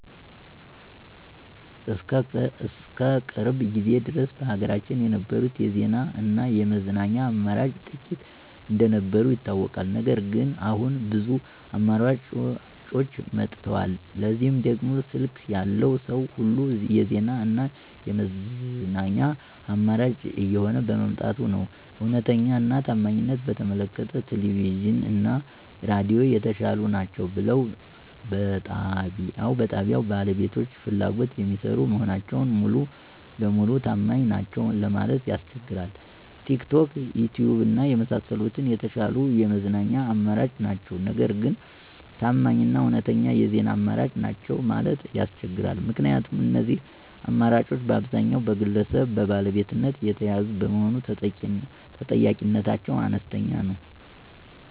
እስከ ቅርብ ጊዜ ድረስ በሀገራችን የነበሩት የዜና እና የመዝናኛ አማራጮች ጥቂት እንደነበሩ ይታወቃል። ነገር ግን አሁን ብዙ አማራጮች መጥተዋል። ለዚህም ደግሞ ስልክ ያለው ሰዉ ሁሉ የዜና እና የመዝናኛ አማራጭ እየሆነ በመምጣቱ ነዉ። እዉነተኛ እና ታማኝነትን በተመለከተ ቴሌቪዥን እና ሬዲዮ የተሻሉ ናቸው ብልም በጣብያዉ ባለቤቶች ፍላጎት የሚሰሩ መሆናቸው ሙሉ ለሙሉ ታማኝ ናቸዉ ለማለት ያስቸግራል። ቲክቶክ፣ ዪትዪብ እና የመሳሰሉት የተሻሉ የመዝናኛ አማራጮች ናቸው። ነገር ግን ታማኝ እና እዉነተኛ የዜና አማራጮች ናቸው ማለት ያስቸግራል። ምክንያቱም እነዚህ አማራጮች በአብዛኛዉ በግለሰብ ባለቤትነት የተያዙ በመሆኑ ተጠያቂነታቸው አነስተኛ ነዉ።